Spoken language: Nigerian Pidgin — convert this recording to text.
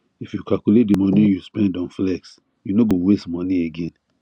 if you calculate the money you spend on flex you no go waste money again